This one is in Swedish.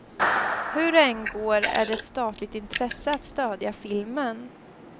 Hur det än går är det ett statligt intresse att stödja filmen.